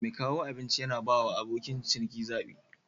Mai kawo abinci yana bawa abokin ciniki zabi.